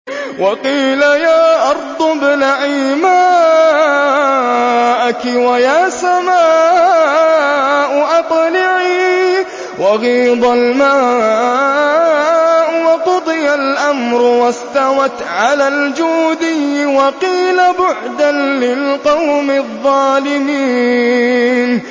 وَقِيلَ يَا أَرْضُ ابْلَعِي مَاءَكِ وَيَا سَمَاءُ أَقْلِعِي وَغِيضَ الْمَاءُ وَقُضِيَ الْأَمْرُ وَاسْتَوَتْ عَلَى الْجُودِيِّ ۖ وَقِيلَ بُعْدًا لِّلْقَوْمِ الظَّالِمِينَ